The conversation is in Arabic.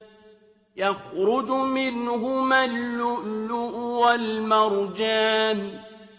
يَخْرُجُ مِنْهُمَا اللُّؤْلُؤُ وَالْمَرْجَانُ